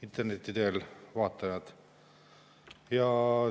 Interneti teel vaatajad!